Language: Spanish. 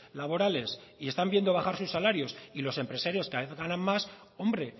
laborales y están viendo bajar sus salarios y los empresarios cada vez ganan más hombre